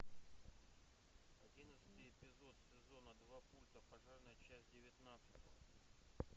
одиннадцатый эпизод сезона два пульта пожарная часть девятнадцать